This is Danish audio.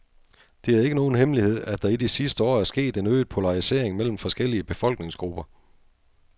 Det er ikke nogen hemmelighed, at der i de sidste år er sket en øget polarisering mellem forskellige befolkningsgrupper.